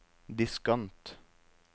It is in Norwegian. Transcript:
diskant